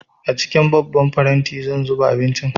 A cikin babban faranti zan zuba abincin